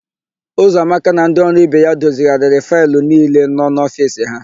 Ụzọamaka na ndị ọrụ ibe ya dozigharịrị faịlụ niile nọ n'ofiisi ha.